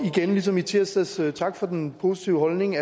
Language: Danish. igen ligesom i tirsdags tak for den positive holdning